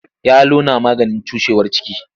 Yalo yana maganin cushewar ciki.